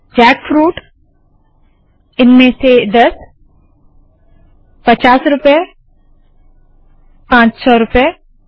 jackfruit इनमें से दस पचास रूपए पाँच सौ रूपए